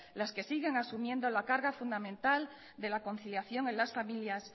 las que siguen asumiendo la carga fundamental de la conciliación en las familias